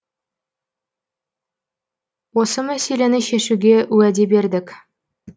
осы мәселені шешуге уәде бердік